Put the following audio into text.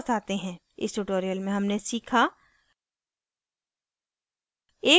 इस tutorial में हमने सीखा